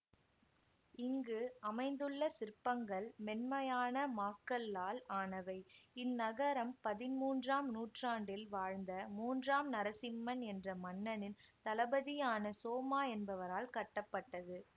இங்கு அமைந்துள்ள சிற்பங்கள் மென்மையான மாக்கல்லால் ஆனவை இந்நகரம் பதின்மூன்றாம் நூற்றாண்டில் வாழ்ந்த மூன்றாம் நரசிம்மன் என்ற மன்னனின் தளபதியான சோமா என்பவரால் கட்டப்பட்டது